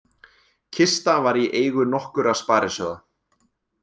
Kista var í eigu nokkurra sparisjóða